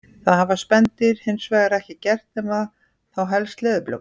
Það hafa spendýrin hins vegar ekki gert nema þá helst leðurblökurnar.